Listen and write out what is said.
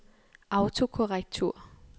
autokorrektur